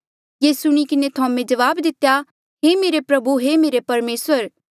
ये सुणी किन्हें थोमे जवाब दितेया हे मेरे प्रभु हे मेरे परमेसर